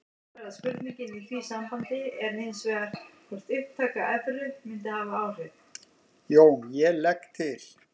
JÓN: Ég legg til.